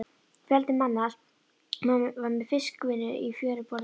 Fjöldi manns var við fiskvinnu í fjöruborðinu.